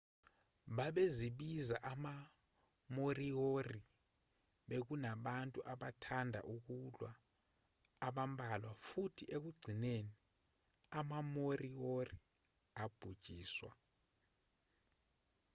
babezibiza ama-moriori bekunabantu abathanda ukulwa abambalwa futhi ekugcineni ama-moriori abhujiswa